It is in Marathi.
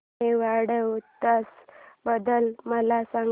मेवाड उत्सव बद्दल मला सांग